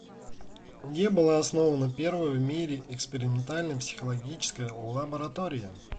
где была основана первая в мире экспериментальная психологическая лаборатория